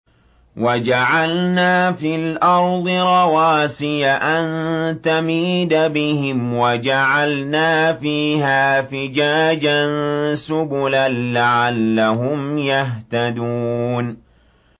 وَجَعَلْنَا فِي الْأَرْضِ رَوَاسِيَ أَن تَمِيدَ بِهِمْ وَجَعَلْنَا فِيهَا فِجَاجًا سُبُلًا لَّعَلَّهُمْ يَهْتَدُونَ